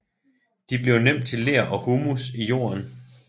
De bliver nemt til ler og humus i jorden